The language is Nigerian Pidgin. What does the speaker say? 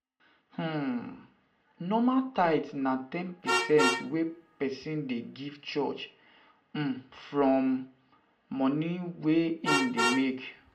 um Normally tithe na ten percent wey person dey give church um from um money wey im dey make